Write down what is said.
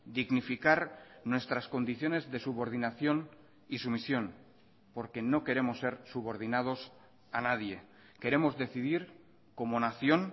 dignificar nuestras condiciones de subordinación y sumisión porque no queremos ser subordinados a nadie queremos decidir como nación